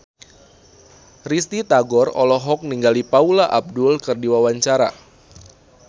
Risty Tagor olohok ningali Paula Abdul keur diwawancara